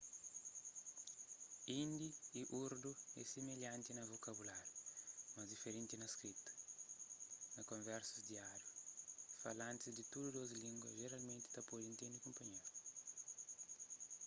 hindi y urdu é similhanti na vokabuláriu mas diferenti na skrita na konversas diáriu falantis di tudu dôs língua jeralmenti ta pode intende kunpanheru